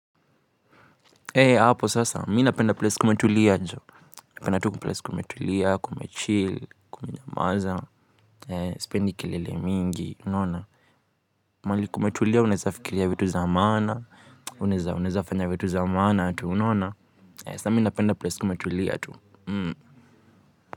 Hapo sasa, mimi napenda place kumetulia jo. Napenda tu place kumetulia, kumechill, kumenyamanza, sipendi kilele mingi, unaona? Mahali kumetulia unaeza fikiria vitu za maana unaeza fanya vitu za maana hadi, unaona. Sasa mimi napenda place kumetulia tu.